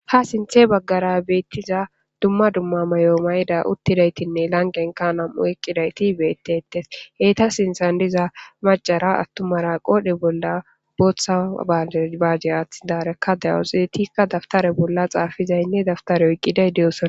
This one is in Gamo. ha sinthe baggara beettiza dumma dumma mayo mayida uttidaytinne langenka nam7u eqqidayti beettetes heyta sinthan diza macara attumara qoodhe bolla booththa baanebaje aaththidarekka dawuxidetikka dabtare bolla xaafizaynne dabtare oyqqiday deyosona